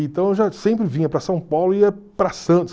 Então eu sempre vinha para São Paulo e ia para Santos.